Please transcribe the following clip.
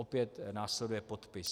Opět následuje podpis.